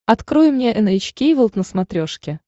открой мне эн эйч кей волд на смотрешке